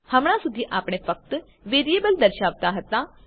હમણાં સુધી આપણે ફક્ત વેરિયેબલ દર્શાવતા હતા